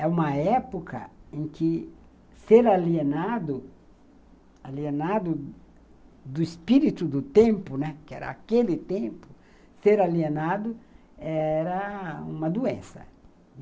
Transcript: É uma época em que ser alienado, alienado do espírito do tempo, né, que era aquele tempo, ser alienado era uma doença.